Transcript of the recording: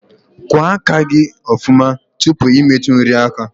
Kwa aka gi ofuma tupu I metu nri aka